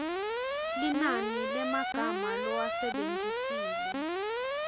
linani lemagama lowasebentisile